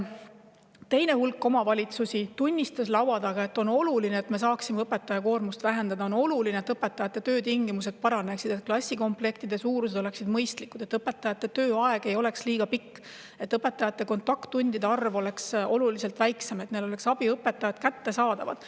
Teine rühm omavalitsusi tunnistas laua taga: selleks et nad saaksid õpetajate koormust vähendada, on oluline, et õpetajate töötingimused paraneksid – klassikomplektide suurused oleksid mõistlikud, õpetajate tööaeg ei oleks liiga pikk, kontakttundide arv oleks oluliselt väiksem ja abiõpetajad oleksid kättesaadavad.